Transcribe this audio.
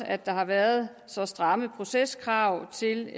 at der har været så stramme proceskrav til